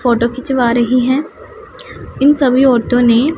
photo खिंचवा रही है इन सभी औरतों ने--